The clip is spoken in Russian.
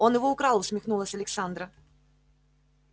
он его украл усмехнулась александра